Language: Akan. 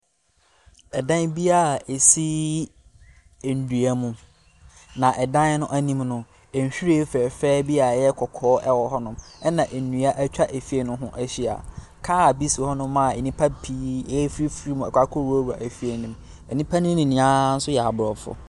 Dan bi a ɛsi nnua mu, na dan no anim no, nhwiren fɛɛfɛɛ bi a ɛyɛ kɔkɔɔ wɔ hɔnom, ɛnna nnua atwa efie no ho ahyia. Kaa bi si hɔnom a nnipa pii refifiri mu akɔwurawrua fie no mu. Nnipa no nyinaa nso yɛ aborɔfo.